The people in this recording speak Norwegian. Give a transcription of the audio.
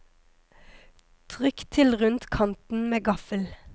Trykk til rundt kanten med gaffel.